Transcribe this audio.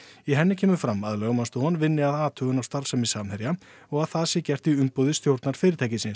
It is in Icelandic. í henni kemur fram að lögmannsstofan vinni að athugun á starfsemi Samherja og að það sé gert í umboði stjórnar fyrirtækisins